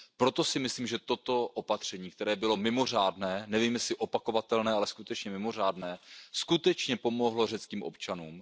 Proto si myslím, že toto opatření, které bylo mimořádné, nevím, jestli je opakovatelné, ale skutečně bylo mimořádné, opravdu pomohlo řeckým občanům.